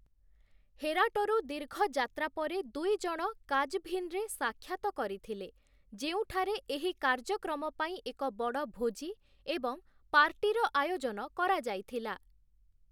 ହେରାଟରୁ ଦୀର୍ଘ ଯାତ୍ରା ପରେ ଦୁଇଜଣ କାଜଭିନରେ ସାକ୍ଷାତ କରିଥିଲେ, ଯେଉଁଠାରେ ଏହି କାର୍ଯ୍ୟକ୍ରମ ପାଇଁ ଏକ ବଡ଼ ଭୋଜି ଏବଂ ପାର୍ଟିର ଆୟୋଜନ କରାଯାଇଥିଲା ।